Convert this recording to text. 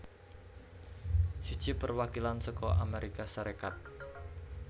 Siji Perwakilan saka Amérika Sarékat